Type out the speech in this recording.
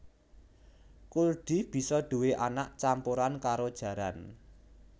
Kuldi bisa duwé anak campuran karo jaran